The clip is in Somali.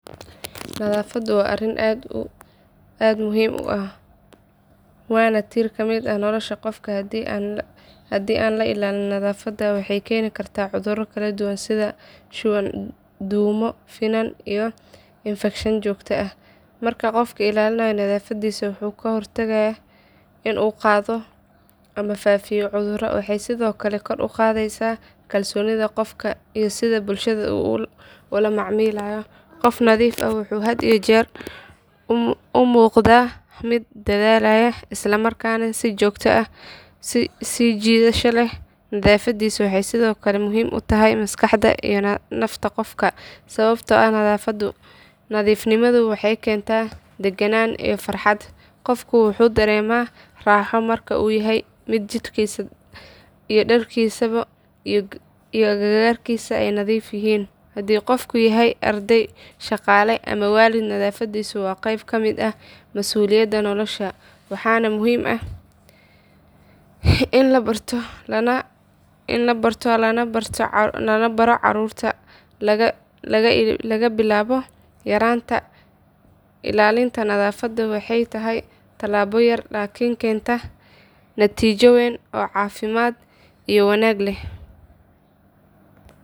Nadafada wa ariin aad muxiim u ah, wana tir kamid ah nolosha gofka, hadi aan lailalin nadafada waxay kenikarta cuduro kaladuwaan sidha shuwaan dumo, finan iyo infekshaan jogta ah, marka gofka ilalinayo nadafadisa wuxu kahortagaya in uu gadoo ama fafiya cudura, waxay sidhokale kor ugadeysa kalsonida gofka iyo sidha bulshada ulamacamilayo, gof nadiif ah wuxu had iyo jeer umugda mid dadalayo islamarkana si jidasha leh, waxay sidhokale muxiim utahay maskaxda iyo nafta gofka sawabto ah nadifnimadu waxay kenta daganan iyo farhat gofku wuxu darema raho marku yahay mid jirkisa iyo darkisa iyo agagargisa ay nadiif yihii ,hadhi gofka yahay ardey shagale ama walid nadafadisa wa geyb kamid ah masuliyada nolosha, waxana muxiim ah in labarto nalabaro carurta, lagabilabo yaranta ilalinta nadafada waxay tahay talabo yar lakin kenta natijoyin oo cafimad iyo wanag leh.